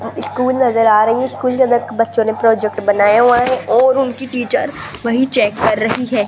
School नजर आ रही है स्कूल के अंदर बच्चों ने प्रोजेक्ट बनाया हुआ है और उनकी टीचर वही चेक कर रही है।